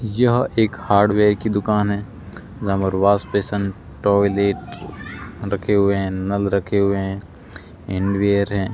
यह एक हार्डवेयर की दुकान है जहां पर वाश बेसिन टॉयलेट रखे हुए हैं नल रखे हुए हैं हैंड वेयर हैं।